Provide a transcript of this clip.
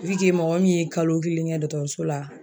mɔgɔ min ye kalo kelen kɛ dɔkɔtɔrɔso la